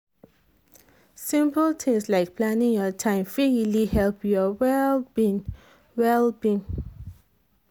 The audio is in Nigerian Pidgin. simple things like planning your time fit really help your well-being. well-being.